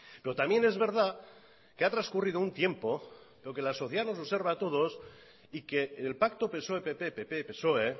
pero también es verdad que ha transcurrido un tiempo que la sociedad nos observa a todos y que el pacto psoe pp y pp psoe